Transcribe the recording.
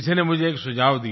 किसी ने मुझे एक सुझाव दिया